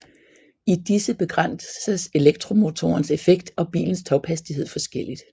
I disse begrænses elektromotorens effekt og bilens tophastighed forskelligt